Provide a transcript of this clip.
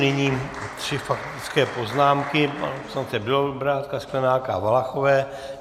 Nyní tři faktické poznámky - pana poslance Bělobrádka, Sklenáka a Valachové.